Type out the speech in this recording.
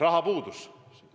Raha puuduses.